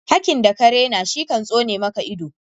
Hakki da ka rena shi kan soni maka ido.